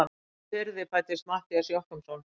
Í hvaða firði fæddist Matthías Jochumsson?